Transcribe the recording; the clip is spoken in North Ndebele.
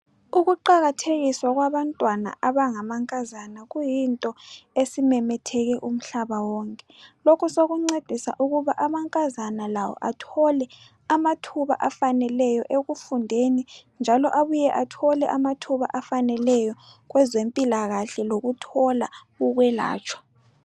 Ukuqakathekiswa kwabantwana abangamankazana kuyinto esimemetheke umhlaba wonke. Lokhu sokuncedisa ukuba amankazana lawo athole amathuba afaneleyo ekufundeni njalo abuye athole njalo abuye athole amathuba afaneleyo kwezempilakahle lokuthola ukwelatshwa.